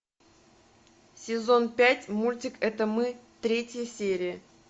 сезон пять мультик это мы третья серия